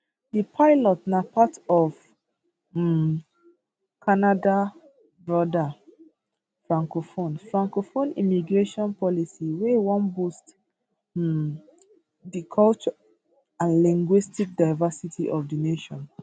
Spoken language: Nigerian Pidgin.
di pilot na part of um canada broader francophone francophone immigration policy wey wan boost um di cultural and linguistic diversity of di nation